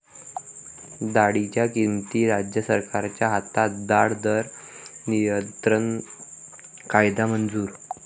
डाळींच्या किमती राज्य सरकारच्या हातात, डाळ दर नियंत्रण कायदा मंजूर